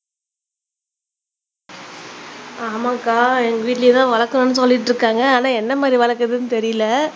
ஆமாங்கா எங்க வீட்லையும் தான் வளக்கணும்னு சொல்லிக்கிட்டு இருக்காங்க ஆனா என்ன மாதிரி வளர்க்கறதுன்னு தெரியலை